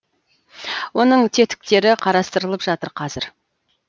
оның тетіктері қарастырылып жатыр қазір